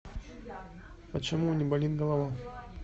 почему не болит голова